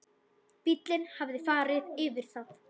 Bíllinn hafði farið yfir það.